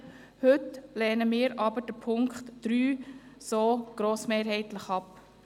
Heute lehnen wir jedoch den Punkt 3 grossmehrheitlich ab.